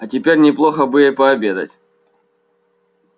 а теперь неплохо бы и пообедать